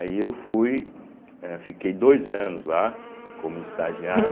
Aí eu fui, eh fiquei dois anos lá como estagiário,